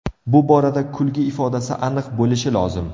Bu borada kulgi ifodasi aniq bo‘lishi lozim.